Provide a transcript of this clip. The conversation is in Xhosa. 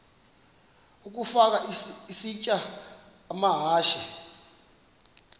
ukafa isitya amahashe